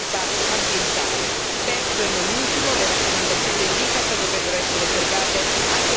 Terzo e non ultimo, le raccomandazioni dell'ICCAT dovrebbero essere osservate anche dai paesi extraeuropei.